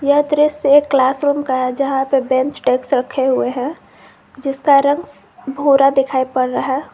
यह दृश्य एक क्लास रूम का है जहां पर बेंच डेस्क रखे हुए हैं जिसका रंग भूरा दिखाई पड़ रहा है।